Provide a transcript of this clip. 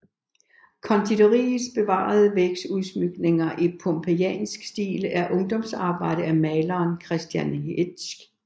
Konditoriets bevarede vægudsmykninger i pompejansk stil er et ungdomsarbejde af maleren Christian Hetsch